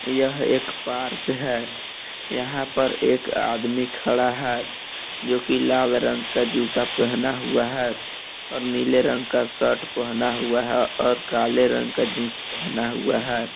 यह एक पार्क है यहां पर एक आदमी खड़ा है जो की लाल रंग का जूता पहना हुआ है और नीले रंग का शर्ट पहना हुआ है और काले रंग का जींस पहना हुआ है।